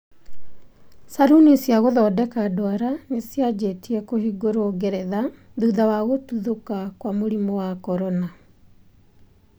Caruni cia gũthondeka ndwara nĩcianjĩtie kũhingũrwo Ngeretha thutha wa gũtuthũka kwa mũrimu wa corona.